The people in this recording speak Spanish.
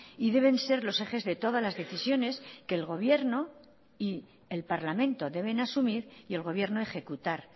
y deben ser los ejes de todas las decisiones que el gobierno y el parlamento deben asumir y el gobierno ejecutar